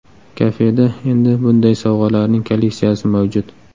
Kafeda endi bunday sovg‘alarning kolleksiyasi mavjud.